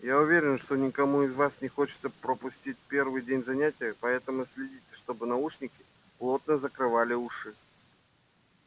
я уверена что никому из вас не хочется пропустить первый день занятий поэтому следите чтобы наушники плотно закрывали уши